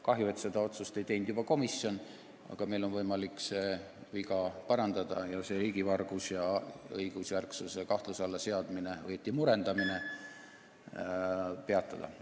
Kahju, et seda otsust ei teinud juba komisjon, aga meil on võimalik see viga parandada ning see riigivargus ja õigusjärgluse kahtluse alla seadmine või õieti murendamine peatada.